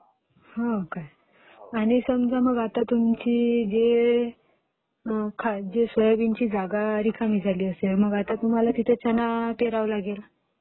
हो काय आता समजा आता तुमची जी सोयाबीनची जागा रिकामी झाली असेल तिथं आता तुम्हाला चणा पेरावा लागेल.